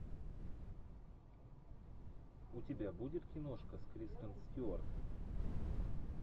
у тебя будет киношка с кристен стюарт